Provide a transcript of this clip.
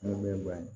Ni mɛn ban ye